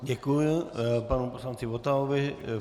Děkuji panu poslanci Votavovi.